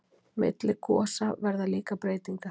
Milli gosa verða líka breytingar.